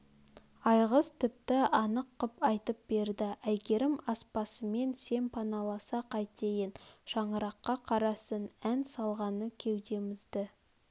айғыз тіпті анық қып айтып берді әйгерім аспасын сен паналаса қайтейін шаңыраққа қарасын ән салғаны кеудемізді